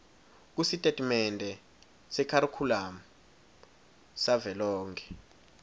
kusitatimende sekharikhulamu savelonkhe